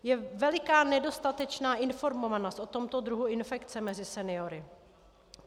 Je veliká nedostatečná informovanost o tomto druhu infekce mezi seniory.